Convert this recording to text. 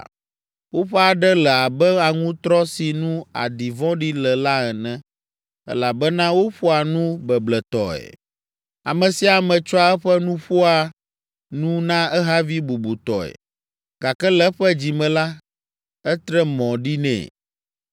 Woƒe aɖe le abe aŋutrɔ si nu aɖi vɔ̃ɖi le la ene, elabena woƒoa nu bebletɔe, ame sia ame tsɔa eƒe nu ƒoa nu na ehavi bubutɔe, gake le eƒe dzi me la, etre mɔ ɖi nɛ.